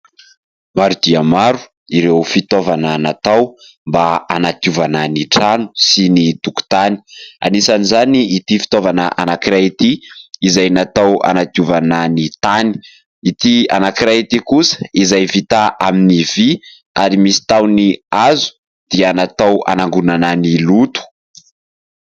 Maro dia maro ireo fitaovana natao mba hanadiovana ny trano sy ny tokotany, anisan'izany ity fitaovana anankiray ity izay natao hanadiovana ny tany, ity anankiray ity kosa izay vita amin'ny vy ary misy tahony hazo dia natao hanangonana ny loto.